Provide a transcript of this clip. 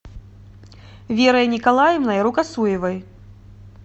верой николаевной рукосуевой